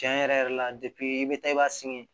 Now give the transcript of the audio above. Tiɲɛ yɛrɛ yɛrɛ la i bɛ taa i b'a sen